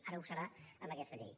ara ho serà amb aquesta llei